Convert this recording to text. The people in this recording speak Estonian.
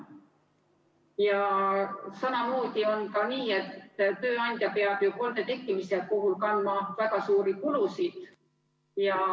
Ja samamoodi see, et tööandja peab kolde tekkimise puhul kandma väga suuri kulusid.